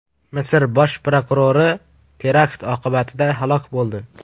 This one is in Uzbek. Misr bosh prokurori terakt oqibatida halok bo‘ldi.